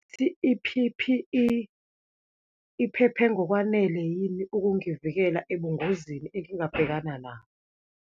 I-P_P_E iphephe ngokwanele yini ukungivikela ebungozini engingabhekana nabo?